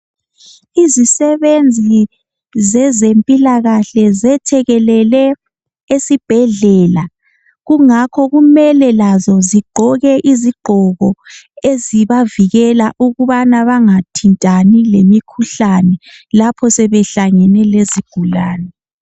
Izisebenzi zezempilakahle zethekelele esibhedlela kungakho kumele lazo zigqoke izigqoko ezibavikela ukubana bangathintani lemikhuhlane lapho sebehlangene lezigulane.